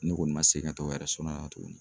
Ne kɔni ma segin ka taa o la tuguni.